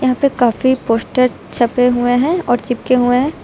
यहां पे काफी पोस्टर छपे हुए हैं और चिपके हुए हैं।